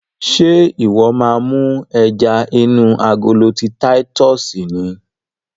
Ṣe iwọ máa mú ẹja inú agolo ti titus ni?